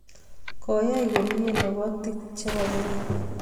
Koyay komie lobotii che bo Kenya.